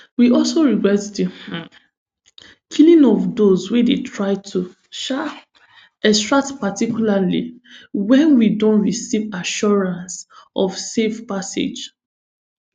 we also regret di um killing of those wey dey try to um extract particularly wen we don receive assurances of safe passage